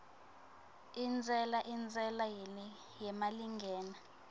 intsela intsela yemalingena